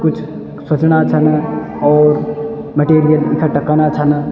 कुछ सुचना छन और मटिरिअल इकठ्ठा कना छन।